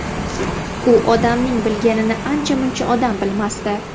U odamning bilganini ancha-muncha odam bilmasdi.